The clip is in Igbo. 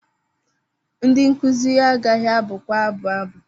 Ndị nkuzi agaghị abụkwa abụ abụ.